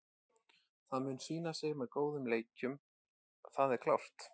Það mun sýna sig með góðum leikjum, það er klárt.